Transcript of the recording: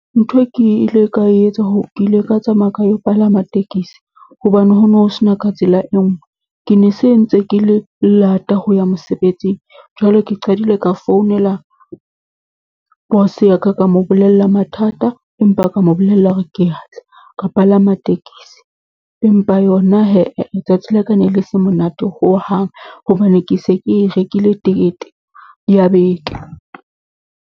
Ntho e ke ile ka etsa , ke ile ka tsamaya ka yo palama tekesi, hobane ho no ho se na ka tsela e nngwe. Ke ne se ntse ke le lata ho ya mosebetsing, jwale ke qadile ka founela boss ya ka, ka mo bolella mathata empa ka mo bolella hore ke ya tla, ka palama tekesi. Empa yona letsatsi la ka ne le se monate hohang, hobane ke se ke rekile tekete ya beke.